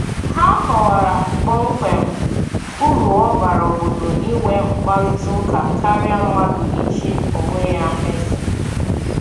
Ha kọwara kpọmkwem uru ọ bara obodo inwe mkparịtaụka karịa mmadụ ichi onwe ya eze.